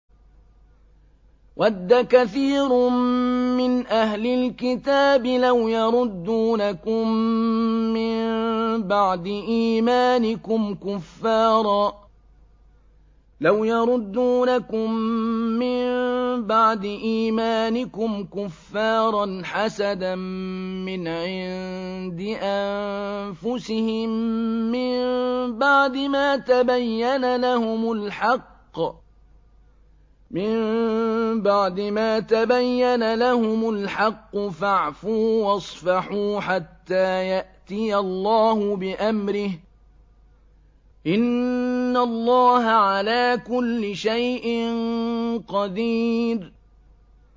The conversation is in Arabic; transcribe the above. وَدَّ كَثِيرٌ مِّنْ أَهْلِ الْكِتَابِ لَوْ يَرُدُّونَكُم مِّن بَعْدِ إِيمَانِكُمْ كُفَّارًا حَسَدًا مِّنْ عِندِ أَنفُسِهِم مِّن بَعْدِ مَا تَبَيَّنَ لَهُمُ الْحَقُّ ۖ فَاعْفُوا وَاصْفَحُوا حَتَّىٰ يَأْتِيَ اللَّهُ بِأَمْرِهِ ۗ إِنَّ اللَّهَ عَلَىٰ كُلِّ شَيْءٍ قَدِيرٌ